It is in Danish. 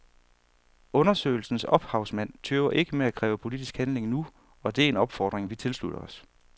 Undersøgelsens ophavsmænd tøver ikke med at kræve politisk handling nu, og det er en opfordring vi tilslutter os.